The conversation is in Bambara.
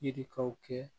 Yirikanw kɛ